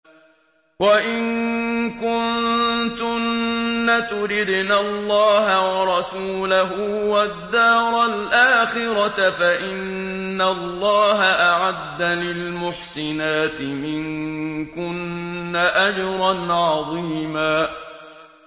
وَإِن كُنتُنَّ تُرِدْنَ اللَّهَ وَرَسُولَهُ وَالدَّارَ الْآخِرَةَ فَإِنَّ اللَّهَ أَعَدَّ لِلْمُحْسِنَاتِ مِنكُنَّ أَجْرًا عَظِيمًا